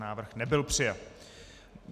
Návrh nebyl přijat.